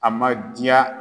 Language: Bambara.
A ma diya.